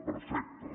perfecte